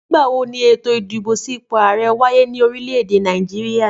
Nígbà wo eto ìdìbò sí ipò àrẹ wáyé ní orílè èdè Nàìjíríà?